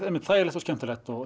þægilegt og skemmtilegt